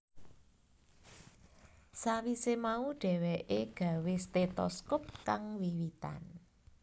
Sawise mau dheweke gawé stetoskop kang wiwitan